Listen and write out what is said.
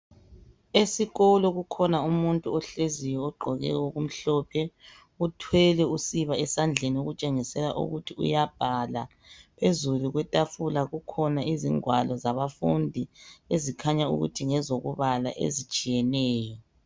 Esikolo kukhona umuntu ohleziyo ugqoke okumhlophe uthwele usiba esandleni okutshengisela ukuthi uyabhala. Phezulu kwetafula kukhona izingwalo zabafundi ezikhanya ukuthi ngezokubala ezitshiyeneyo.